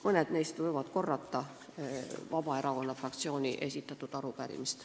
Mõned neist võivad korrata Vabaerakonna fraktsiooni esitatud arupärimist.